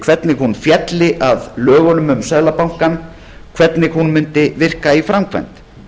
hvernig hún félli að lögunum um seðlabankann hvernig hún mundi virka í framkvæmd